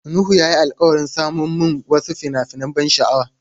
Nuhu ya yi alkawarin saman mun wasu fina-finan ban sha'awa.